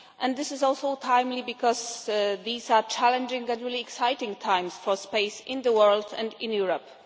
This is also timely because these are challenging but really exciting times for space in the world and in Europe.